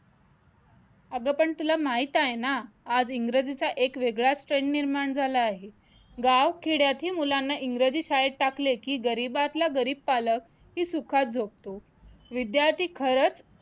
अगं पण तुला माहित आहे ना आज इंग्रजीचा एक वेगळाच trend निर्माण झाला आहे गाव खेड्यातली मुलांना इंग्रजी शाळेत टाकले की गरिबातल्या गरीब पालकही सुखात झोपतो विद्यार्थी खरंच